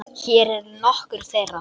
Hér eru nokkur þeirra.